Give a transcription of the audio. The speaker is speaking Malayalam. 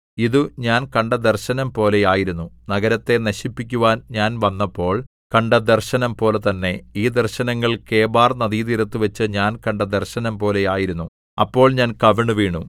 ഇതു ഞാൻ കണ്ട ദർശനംപോലെ ആയിരുന്നു നഗരത്തെ നശിപ്പിക്കുവാൻ ഞാൻ വന്നപ്പോൾ കണ്ട ദർശനംപോലെ തന്നെ ഈ ദർശനങ്ങൾ കെബാർനദീതീരത്തുവച്ച് ഞാൻ കണ്ട ദർശനംപോലെ ആയിരുന്നു അപ്പോൾ ഞാൻ കവിണ്ണുവീണു